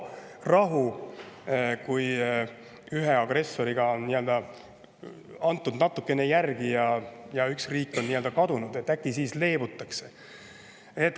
et kui ühele agressorile antakse natukene järele, üks riik on nii-öelda kadunud, siis äkki leebutakse.